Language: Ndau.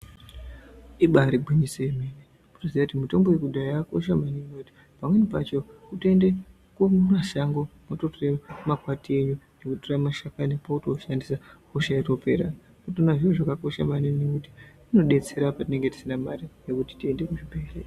Ibari gwinyiso remene mitombo yekudhaya yakakosha maningi pamweni pacho kutoinda mumashango wototore makwati wotora mashakani kwauto ushandisa hosha yotopera ndotoona kuti zviro zvakakosha maningi ngekuti zvinodetsera apo tinonga tisina mare yekuti tiende kuzvibhedhlera.